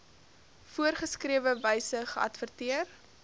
voorgeskrewe wyse geadverteer